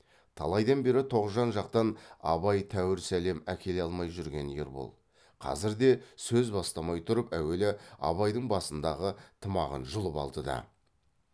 талайдан бері тоғжан жақтан абай тәуір сәлем әкеле алмай жүрген ербол қазір де сөз бастамай тұрып әуелі абайдың басындағы тымағын жұлып алды да